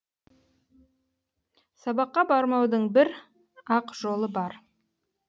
сабаққа бармаудың бір ақ жолы бар